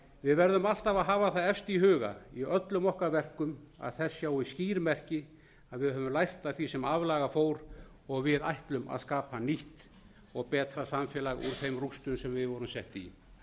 við verðum alltaf að hafa það efst í huga í öllum okkar verkum að þess sjáist skýr merki að við höfum lært af því sem aflaga fór og að við ætlum að skapa nýtt og betra samfélag úr þeim rústum sem við vorum sett í